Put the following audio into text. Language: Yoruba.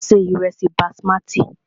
A se ìrẹ́sí basimati.